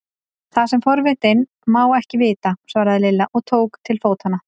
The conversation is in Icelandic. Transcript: Það sem forvitinn má ekki vita! svaraði Lilla og tók til fótanna.